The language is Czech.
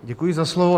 Děkuji za slovo.